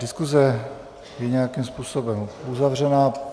Diskuse je nějakým způsobem uzavřena.